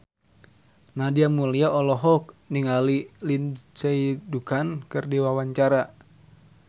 Nadia Mulya olohok ningali Lindsay Ducan keur diwawancara